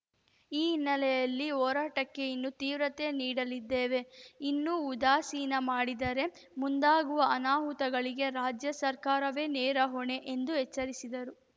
ಈ ಹಿನ್ನೆಲೆಯಲ್ಲಿ ಹೋರಾಟಕ್ಕೆ ಇನ್ನು ತೀವ್ರತೆ ನೀಡಲಿದ್ದೇವೆ ಇನ್ನೂ ಉದಾಸೀನ ಮಾಡಿದರೆ ಮುಂದಾಗುವ ಅನಾಹುತಗಳಿಗೆ ರಾಜ್ಯ ಸರ್ಕಾರವೇ ನೇರ ಹೊಣೆ ಎಂದು ಎಚ್ಚರಿಸಿದರು